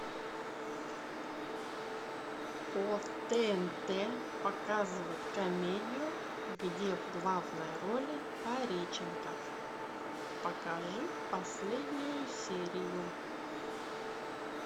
по тнт показывают комедию где в главной роли пореченков покажи последнюю серию